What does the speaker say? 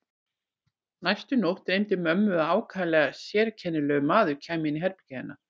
Næstu nótt dreymdi mömmu að ákaflega sérkennilegur maður kæmi inn í herbergið til hennar.